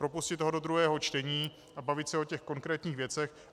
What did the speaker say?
Propustit ho do druhého čtení a bavit se o těch konkrétních věcech.